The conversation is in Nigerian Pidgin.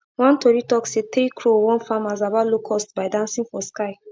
one tori talk say three crow warn farmers about locusts by dancing for sky